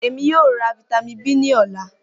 Emi yoo ra Vitamin B ni ọla